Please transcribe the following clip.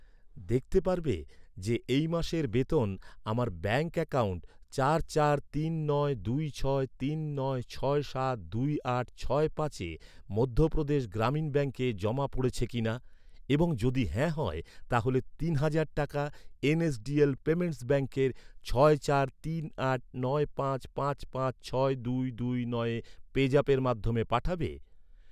দেখতে পারবে যে, এই মাসের বেতন আমার ব্যাঙ্ক অ্যাকাউন্ট চার চার তিন নয় দুই ছয় তিন নয় ছয় সাত দুই আট ছয় পাঁচে মধ্যপ্রদেশ গ্রামীণ ব্যাঙ্কে জমা পড়েছে কিনা, এবং যদি হ্যাঁ হয়, তাহলে তিন হাজার টাকা এন.এস.ডি.এল পেমেন্টস ব্যাঙ্কের ছয় চার তিন আট নয় পাঁচ পাঁচ পাঁচ ছয় দুই দুই নয় পেজ অ্যাপের মাধ্যমে পাঠাবে?